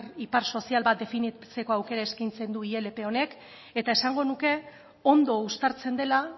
ipar sozial bat definitzeko aukera eskaintzen du ilp honek eta esango nuke ondo uztartzen dela